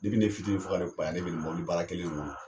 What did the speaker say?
Depi ne fitinin fɔ ka ne kunbaya ne be nin mɔbilibaara kelen in kɔnɔ